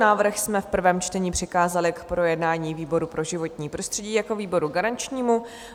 Návrh jsme v prvém čtení přikázali k projednání výboru pro životní prostředí jako výboru garančnímu.